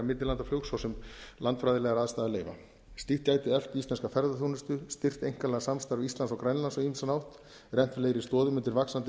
svo sem landfræðilegar aðstæður leyfa slíkt gæti eflt íslenska ferðaþjónustu styrkt einkanlega samstarf íslands og grænlands á ýmsan hátt rennt fleiri stoðum undir vaxandi